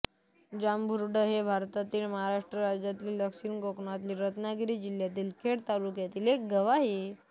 जांभुर्डे हे भारतातील महाराष्ट्र राज्यातील दक्षिण कोकणातील रत्नागिरी जिल्ह्यातील खेड तालुक्यातील एक गाव आहे